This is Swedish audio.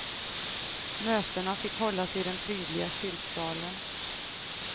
Mötena fick hållas i den prydliga kyrksalen.